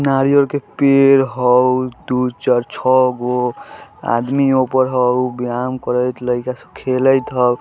नारियल के पेड़ हाउ दू चार छव गो आदमी ऊपर हाउ व्यायाम करत लइका सब हाउ खेलईत हाउ